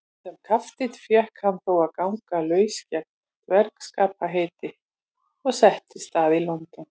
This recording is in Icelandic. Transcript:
Sem kapteinn fékk hann þó að ganga laus gegn drengskaparheiti og settist að í London.